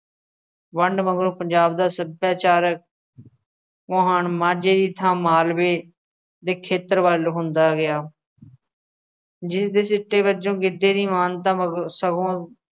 ਵੰਡ ਮਗਰੋਂ ਪੰਜਾਬ ਦਾ ਸੱਭਿਆਚਾਰਕ ਮੁਹਾਨ ਮਾਝੇ ਦੀ ਥਾਂ ਮਾਲਵੇ ਦੇ ਖੇਤਰ ਵੱਲ ਹੁੰਦਾ ਗਿਆ ਜਿਸਦੇ ਸਿੱਟੇ ਵਜੋਂ ਗਿੱਧੇ ਦੀ ਮਾਨਤਾ ਮਗ~ ਸਗੋਂ